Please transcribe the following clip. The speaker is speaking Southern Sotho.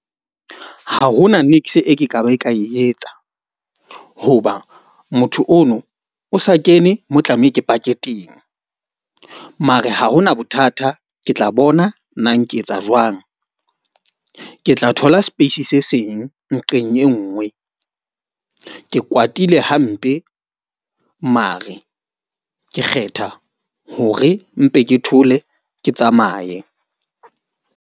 Ha ho na niks e, ke ka ba ka e etsa. Hoba motho ono o sa kene, mo tlameha ke pake teng. Mare ha hona bothata ke tla bona nang ke etsa jwang. Ke tla thola space se seng nqeng e nngwe. Ke kwatile hampe mare, ke kgetha hore mpe ke thole, ke tsamaye.